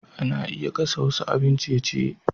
Ana iya gasa wasu abin ciye-ciye.